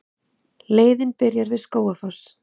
Leiðin byrjar við Skógafoss.